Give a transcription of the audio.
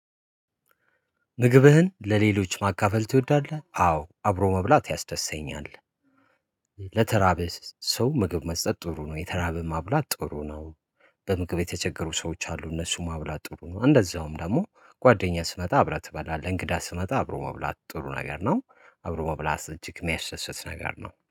ምግብህን ለሌሎች ማካፈል ትወዳለህ? አዎ አብሮ መብላት ያስደስተኛል። ለተራበ ስ ሰው ምግብ መስጠት ጥሩ ነው የተራበ ማብላት ጥሩ ነው። በምግብ የተቸገሩ ሰዎች አሉ እነሱ ማብላት ጥሩ ነው። እንደዛውም ደግሞ ጓደኛ ሲመጣ አብረህ ትበላለህ እንግዳ ሲመጣ አብሮ መብላት ጥሩ ነገር ነው። አብሮ መብላት እጅግ የሚያስደስት ነገር ነው